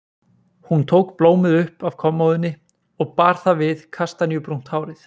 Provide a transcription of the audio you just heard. Hún tók blómið upp af kommóðunni og bar það við kastaníubrúnt hárið.